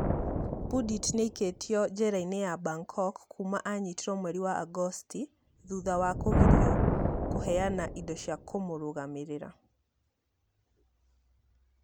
Pudit nĩ aaikĩtio njera-inĩ ya Bangkok kuuma aanyitirwo mweri wa Agosti, thutha wa kũgirio kũheana indo cia kũmũrũgamĩrĩra.